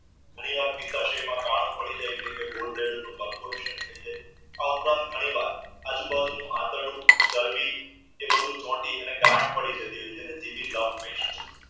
ઘણીવાર કાણું પડી જાય છે આ ઉપરાંત ઘણીવાર આજુબાજુ આતરડુ ચરબી એ બધું ચોટી ગાંઠ પડી જતી હોય છે